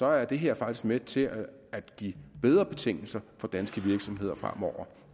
er det her faktisk med til at at give bedre betingelser for danske virksomheder fremover